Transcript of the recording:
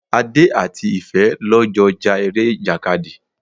Adé àti Ìfẹ́ lọ jọ ja ere ìjàkadì.